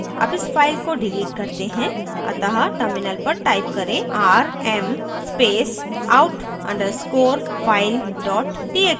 अब इस file को डिलीट करते हैं अतः terminal पर type करें rm space out _ underscore file dot txt